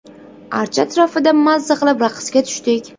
Archa atrofida mazza qilib raqsga tushdik.